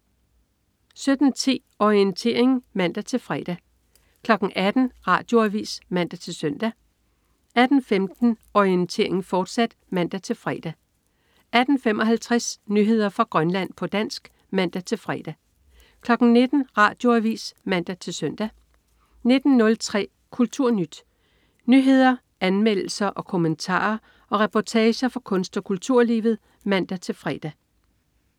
17.10 Orientering (man-fre) 18.00 Radioavis (man-søn) 18.15 Orientering, fortsat (man-fre) 18.55 Nyheder fra Grønland, på dansk (man-fre) 19.00 Radioavis (man-søn) 19.03 KulturNyt. Nyheder, anmeldelser, kommentarer og reportager fra kunst- og kulturlivet (man-fre)